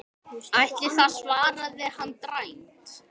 Ætli það, svaraði hann dræmt.